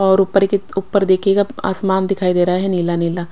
और उपर की उपर देखिएगा आसमान दिखाई दे रहा है नीला नीला--